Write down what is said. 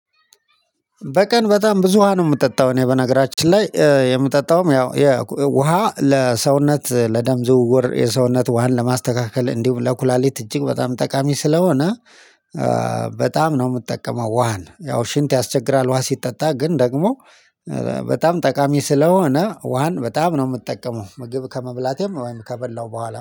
በቀን በጣም ብዙ ውሃ ነው የምጠጣው እኔ በነገራችን ላይ የምጠጣውም ያው የውሃ ለሰውነት ለደም ዝውውር የሰውነት ውሃን ለማስተካከል እንዲሁም ለኩላሊት እጅግ በጣም ጠቃሚ ስለሆነ። በጣም ነው የምትጠቀመው ውሃን ያው ሽንት ያስቸግራል ውሃ ሲጠጣ ግን ደግሞ በጣም ጠቃሚ ስለሆነ ውሃን በጣም ነው የምትጠቀመው። ምግብ ከመብላቴም ወይም ከበላው በኋላ